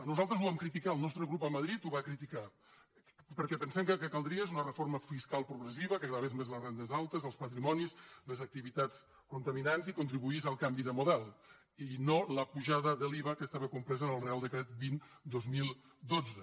nosaltres ho vam criticar el nostre grup a madrid ho va criticar perquè pensem que el que caldria és una reforma fiscal progressiva que gravés més les rendes altes els patrimonis les activitats contaminants i contribuís al canvi de model i no l’apujada de l’iva que estava compresa en el reial decret vint dos mil dotze